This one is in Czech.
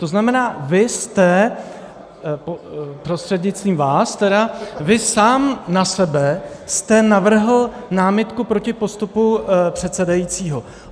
To znamená, vy jste - prostřednictvím vás tedy - vy sám na sebe jste navrhl námitku proti postupu předsedajícího.